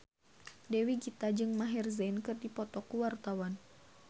Dewi Gita jeung Maher Zein keur dipoto ku wartawan